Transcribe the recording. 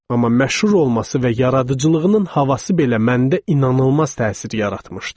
Amma məşhur olması və yaradıcılığının havası belə məndə inanılmaz təsir yaratmışdı.